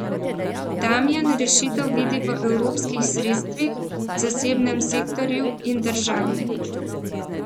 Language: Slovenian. Damijan rešitev vidi v evropskih sredstvih, zasebnem sektorju in državi.